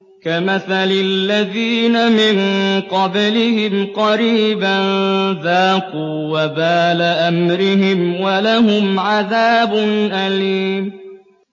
كَمَثَلِ الَّذِينَ مِن قَبْلِهِمْ قَرِيبًا ۖ ذَاقُوا وَبَالَ أَمْرِهِمْ وَلَهُمْ عَذَابٌ أَلِيمٌ